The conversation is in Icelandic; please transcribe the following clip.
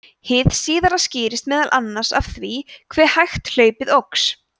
hið síðara skýrist meðal annars af því hve hægt hlaupið óx